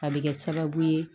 A bɛ kɛ sababu ye